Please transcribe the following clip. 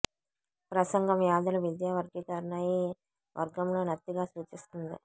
ప్రసంగం వ్యాధుల విద్యా వర్గీకరణ ఈ వర్గంలో నత్తిగా సూచిస్తుంది